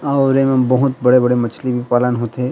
और एम बहुत बड़े - बड़े मछली भी पालन होते।